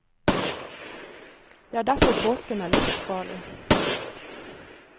Det er derfor påsken er livsfarlig.